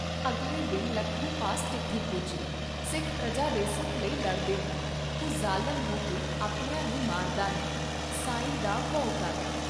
ਅਗਲੇ ਦਿਨ ਲੱਖੂ ਪਾਸ ਚਿੱਠੀ ਪੁੱਜੀ ' ਸਿੱਖ ਪਰਜਾ ਦੇ ਸੁਖ ਲਈ ਲੜਦੇ ਹਨ, ਤੂੰ ਜ਼ਾਲਮ ਹੋ ਕੇ ਆਪਣਿਆਂ ਨੂੰ ਮਾਰਦਾ ਹੈਂ, ਸਾਂਈਂ ਦਾ ਭਉ ਕਰ